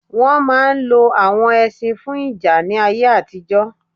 Wọn máà ń lo awon ẹṣin fún ìjà ní ayé àtijọ́